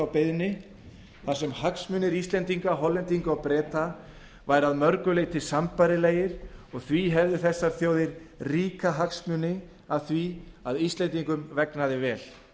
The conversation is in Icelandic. beiðni þar sem hagsmunir íslendinga hollendinga og breta væru að mörgu leyti sambærilegir og því hefðu þessar þjóðir ríka hagsmuni af því að íslendingum vegnaði vel